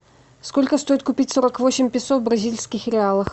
сколько стоит купить сорок восемь песо в бразильских реалах